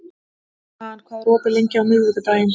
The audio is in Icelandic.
Dan, hvað er opið lengi á miðvikudaginn?